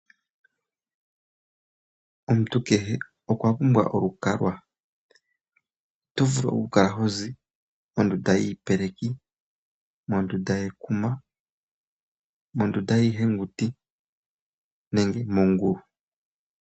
Omuntu kehe okwa pumbwa olukalwa. Oto vulu okukala hozi mondunda yiipeleki, mondunda yekuma, mondunda yiihenguti nenge mongulu.